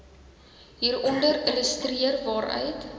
hieronder illustreer waaruit